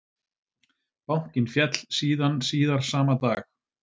Bankinn féll síðan síðar sama dag